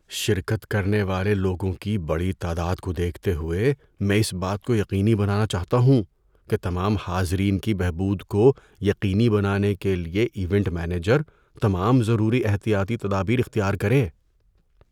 شرکت کرنے والے لوگوں کی بڑی تعداد کو دیکھتے ہوئے، میں اس بات کو یقینی بنانا چاہتا ہوں کہ تمام حاضرین کی بہبود کو یقینی بنانے کے لیے ایونٹ مینیجر تمام ضروری احتیاطی تدابیر اختیار کرے۔